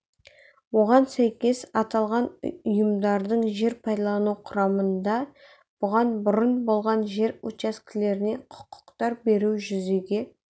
оған сәйкес аталған ұйымдардың жер пайдалану құрамында бұдан бұрын болған жер учаскелеріне құқықтар беру жүзеге